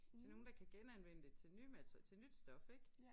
Til nogen der kan genanvende det til nye til nyt stof ik